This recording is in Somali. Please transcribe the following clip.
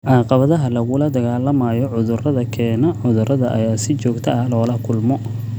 Caqabadaha lagula dagaalamayo cudurada keena cudurada ayaa si joogto ah loola kulmo.